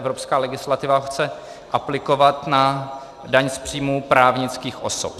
Evropská legislativa chce aplikovat na daň z příjmu právnických osob.